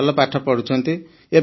ହଁ ସାର୍ ଭଲ ପାଠ ପଢ଼ୁଛନ୍ତି